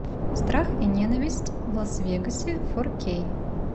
страх и ненависть в лас вегасе фо кей